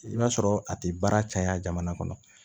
I b'a sɔrɔ a ti baara caya jamana kɔnɔ